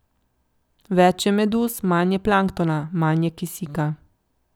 Več je meduz, manj je planktona, manj je kisika.